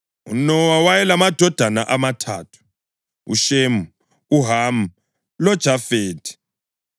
UNowa wayelamadodana amathathu: UShemu, uHamu loJafethi.